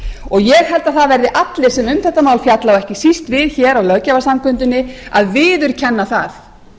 og ég held að það verði allir sem um þetta mál fjalla og ekki síst við á löggjafarsamkundunni að viðurkenna það